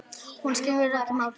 Hún skipti hann engu máli.